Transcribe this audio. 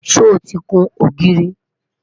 sọ tí kún ògiri?